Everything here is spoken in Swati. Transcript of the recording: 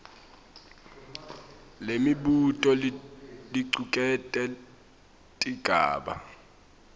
lemibuto licuketse tigaba